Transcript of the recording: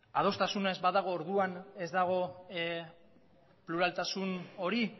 adostasuna ez badago orduan ez dago pluraltasun hori